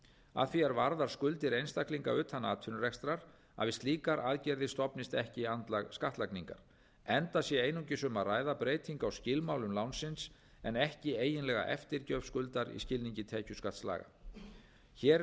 að því er varðar skuldir einstaklinga utan atvinnurekstrar að við slíkar aðgerðir stofnist ekki andlag skattlagningar enda sé einungis um að ræða breytingu á skilmálum lánsins en ekki eiginlega eftirgjöf skuldar í skilningi tekjuskattslaga hér